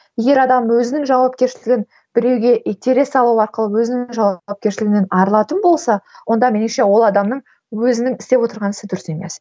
егер адам өзінің жауапкершілігін біреуге итере салу арқылы өзінің жауапкершілігінен арылатын болса онда меніңше ол адамның өзінің істеп отырған ісі дұрыс емес